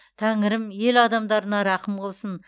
тәңірім ел адамдарына рақым қылсын